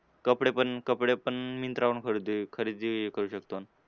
कपडे पण कपडे पण मिन्त्रावरून खरेदी खरेदी करू शकतो.